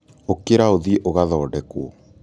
ũkĩra ũthiĩ ũgathondekwo